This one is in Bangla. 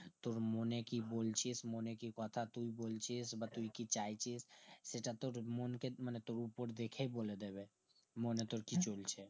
তোর মনে কি বলছিস তোর মনে কি কথা তুই বলছিস বা তুই কি চাইছিস সেটা তোর মনকে মানে তবু উপর দেখেই বলে দেবে মনে তোর কি চলছে